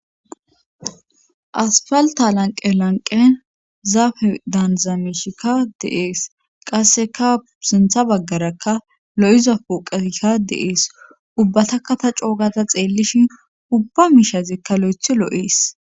asfalta lanqe lanqen zaafe daaniza meshika de7ees qasseka sintha baggarakka lo7iza pooqeyka de7ees ubbataka ta coo gada xeellishin ubba miishazikka loythi loo7ees.